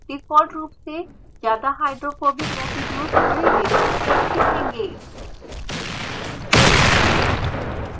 default रूप से ज़्यादा hydrophobic residues बड़ी रेडियस के दिखेंगे